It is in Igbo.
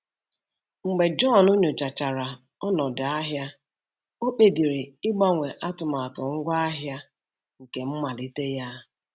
Mgbe John nyochachara ọnọdụ ahịa, o kpebiri ịgbanwe atụmatụ ngwaahịa nke mmalite ya.